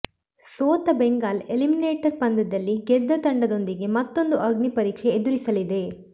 ಸೋತ ಬೆಂಗಾಲ್ ಎಲಿಮಿನೇಟರ್ ಪಂದ್ಯದಲ್ಲಿ ಗೆದ್ದ ತಂಡ ದೊಂದಿಗೆ ಮತ್ತೂಂದು ಅಗ್ನಿಪರೀಕ್ಷೆ ಎದುರಿಸಲಿದೆ